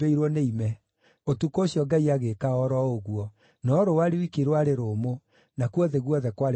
Ũtukũ ũcio Ngai agĩĩka o ro ũguo. No rũũa rwiki rwarĩ rũmũ; nakuo thĩ guothe kwarĩ kũhumbĩre nĩ ime.